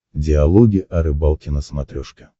диалоги о рыбалке на смотрешке